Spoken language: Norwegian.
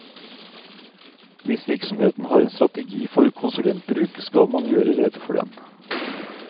Hvis virksomheten har en strategi for konsulentbruk, skal man gjøre rede for den.